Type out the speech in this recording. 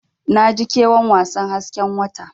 Naji ƙewan wasan hasken wata.